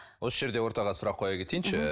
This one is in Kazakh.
осы жерде ортаға сұрақ қоя кетейінші